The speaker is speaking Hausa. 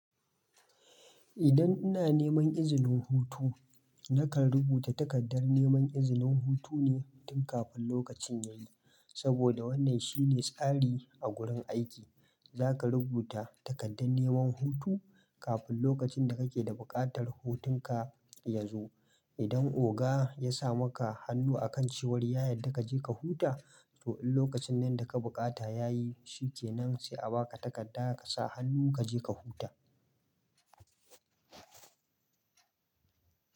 Idan ina neman izinin hutu, nakan rubuta takardar neman izinin hutune tun kafin lokacin yayi. Saboda wannan shine tsari a gurin aiki, zaka rubuta takardar neman hutu kafin lokacin da kake da buƙatar hutun ka yazo. Idan oga ya sa maka hannu akan cewar ya yarda kaje ka huta, to in lokacin nan da ka bukata yayi, shikenan sai a baka takarda ka sa hannu kaje ka huta.